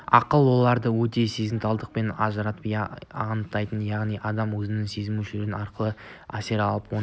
ақыл оларды өте сезімталдықпен ажыратып анықтайды яғни адам өзінің сезім мүшелері арқылы әсер алып оны